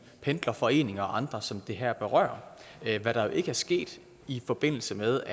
pendlerforeninger og andre som det her berører hvad der jo ikke er sket i forbindelse med